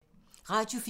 Radio 4